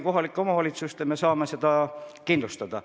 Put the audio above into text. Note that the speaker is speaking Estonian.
Kohalike omavalitsuste abiga me saame selle kindlustada.